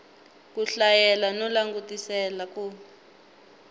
ku hlayela no langutisela ku